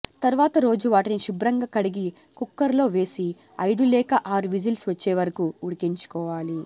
తర్వాత రోజు వాటిని శుభ్రంగా కడిగి కుక్కర్లో వేసి ఐదు లేక ఆరు విజిల్స్ వచ్చే వరకూ ఉడికించుకోవాలి